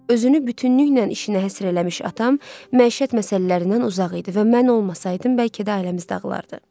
Özünü bütünlüklə işinə həsr eləmiş atam məişət məsələlərindən uzaq idi və mən olmasaydım bəlkə də ailəmiz dağılardı.